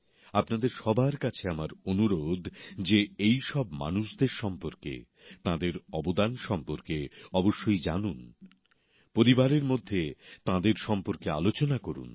আপনাদের সবার কাছে আমার অনুরোধ যে এই সব মানুষদের সম্পর্কে তাঁদের অবদান সম্পর্কে অবশ্যই জানুন পরিবারের মধ্যে তাঁদের সম্পর্কে আলোচনা করুন